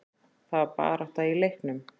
Það var barátta í leiknum.